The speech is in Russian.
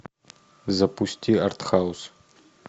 запусти артхаус